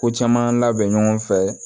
Ko caman labɛn ɲɔgɔn fɛ